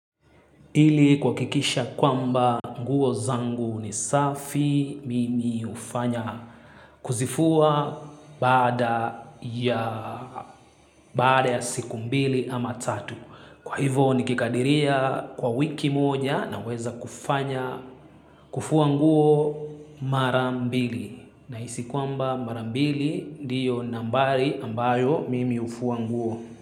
Ilikuakikisha kwamba nguo zangu ni safi mimi hufanya kuzifua baada ya siku mbili ama tatu. Kwa hivo nikikadiria kwa wiki moja naweza kufanya kufua nguo mara mbili. Nahisi kwamba mara mbili ndiyo nambari ambayo mimi hufua nguo.